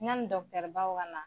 Yani baw ka na